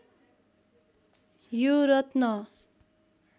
यो रत्न